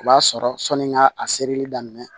O b'a sɔrɔ sɔni n ka a serili daminɛ